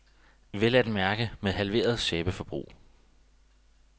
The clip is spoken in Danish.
Vel at mærke med halveret sæbeforbrug.